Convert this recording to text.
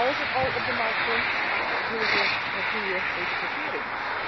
Dus als het al op de markt komt, willen ze een goede etikettering.